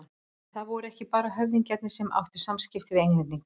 En það voru ekki bara höfðingjarnir sem áttu samskipti við Englendinga.